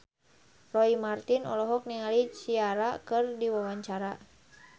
Roy Marten olohok ningali Ciara keur diwawancara